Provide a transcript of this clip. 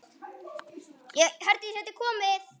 Hvað hyggist þér fyrir?